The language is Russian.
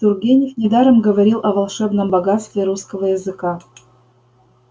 тургенев недаром говорил о волшебном богатстве русского языка